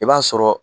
I b'a sɔrɔ